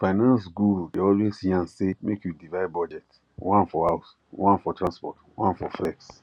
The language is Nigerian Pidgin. finance guru dey always yarn say make you divide budget one for house one for transport another one for flex